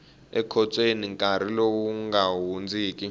ekhotsweni nkarhi lowu nga hundziki